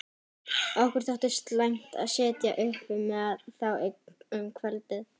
Okkur þótti slæmt að sitja uppi með þá um kvöldið.